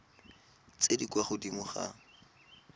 tse di kwa godimo ga